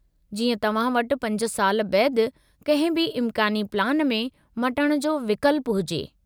जीअं तव्हां वटि 5 साल बैदि कंहिं बि इमकानी प्लान में मटिण जो विकल्पु हुजे।